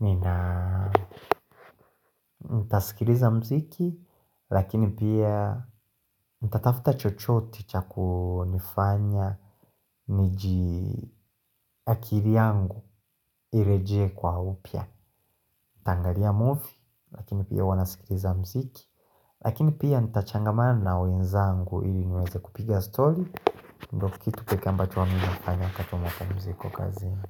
nina ntasikiliza mziki lakini pia ntatafta chochoti cha kunifanya niji akili yangu ireje kwa upya. Ntangalia movie lakini pia huwa nasikiliza mziki lakini pia ntachangamana na wenzangu ili niweze kupiga story ndo kitu peke ambacho huwa mi nafanya wakati wa mapumziko kazini.